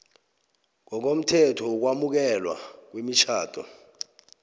ngokomthetho wokwamukelwa kwemitjhado